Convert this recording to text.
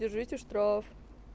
держите штраф